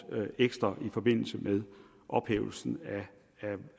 ekstra i forbindelse med ophævelsen